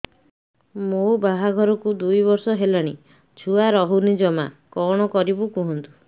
ମୋ ବାହାଘରକୁ ଦୁଇ ବର୍ଷ ହେଲାଣି ଛୁଆ ରହୁନି ଜମା କଣ କରିବୁ କୁହନ୍ତୁ